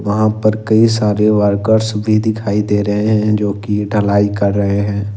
वहां पर कई सारे वर्कर्स भी दिखाई दे रहे हैं जो की ढलाई कर रहे हैं।